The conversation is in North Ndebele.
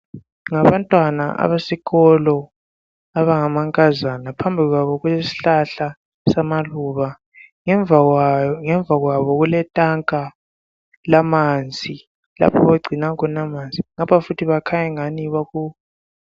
Ngabantwana abesikolo abangamankazana phambi kwabo kulesihlahla samaluba ngemva kwabo kuletanka lamanzi lapho abagcina khona amanzi lapha futhi bakhanya engathi baku.